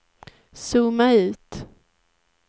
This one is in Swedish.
zooma ut